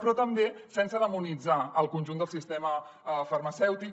però també sense demonitzar el conjunt del sistema farmacèutic